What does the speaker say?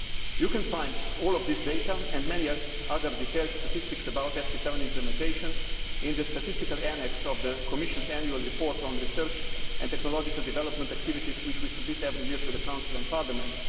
You can find all of this data, and many other detailed statistics about FP7 implementation, in the statistical annex to the Commission's annual report on research and technological development activities, which we submit every year to the Council and Parliament.